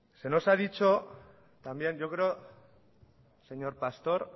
se nos ha dicho también yo creo señor pastor